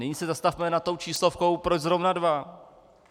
Nyní se zastavme nad tou číslovkou, proč zrovna dva.